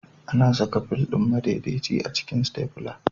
Ana saka fil ɗin madaidaici a cikin Stafla